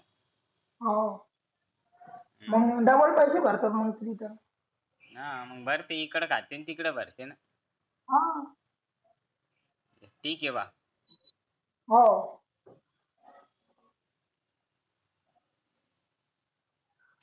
हा मग डबल पैसे भरते मग परत हा मग भरते इकडे खाते आणि तिकडे भरते ना हा ठीक ये बा हो